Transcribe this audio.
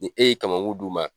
Ni e ye kamakun d'u ma